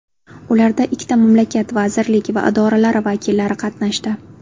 Ularda ikki mamlakat vazirlik va idoralari vakillari qatnashdi.